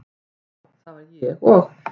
já, já það var ég og.